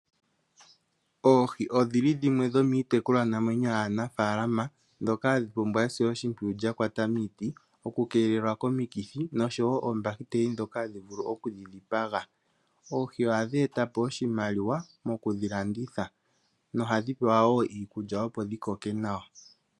Oohi odhili dhimwe dhomiitekulwanamwenyo yaanafaalama ndhoka hadhi pumbwa esiloshimpwiyu lya kwata miiti, okukeelelwa komikithi noshowo oombahiteli ndhoka hadhi vulu okudhi dhipaga. Oohi ohadhi eta po oshimaliwa mokudhi landitha nohadhi pewa woo iikulya opo dhi koke nawa.